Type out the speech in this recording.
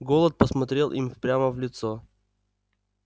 голод посмотрел им прямо в лицо